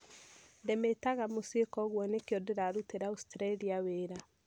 Ndĩmĩtaga mũciĩ kwoguo nĩkĩo ndĩrarutĩra Austraria wĩra